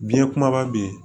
Biɲɛ kumaba bɛ yen